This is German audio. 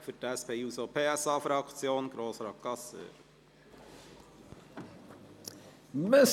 Für die SP-JUSO-PSA-Fraktion: Grossrat Gasser.